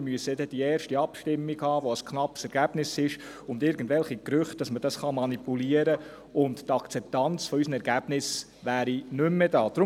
Wir müssen nur die erste Abstimmung abwarten, bei der das Ergebnis knapp ist und irgendwelche Gerüchte auftauchen, dass man dieses System manipulieren kann, und die Akzeptanz unserer Ergebnisse wäre nicht mehr da.